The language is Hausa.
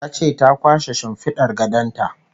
Ya ce ta kwashe shimfidar gadon ta